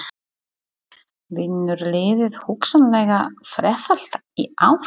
Vinnur liðið hugsanlega þrefalt í ár?